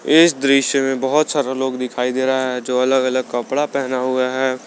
इस दृश्य में बहुत सारा लोग दिखाई दे रहा है जो अलग अलग कपड़ा पहना हुए है।